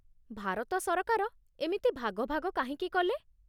ଭାରତ ସରକାର ଏମିତି ଭାଗ ଭାଗ କାହିଁକି କଲେ?